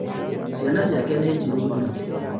Ciana ciake nĩ njirũ mũno